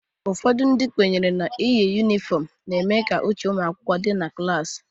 Ụfọdụ ndị kwenyere n'iyi yunifọmu na-eme ka uche ụmụakwụkwọ dị na klasi